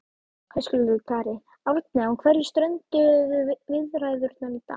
Höskuldur Kári: Árni á hverju strönduðu viðræðurnar í dag?